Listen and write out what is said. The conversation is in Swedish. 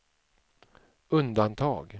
undantag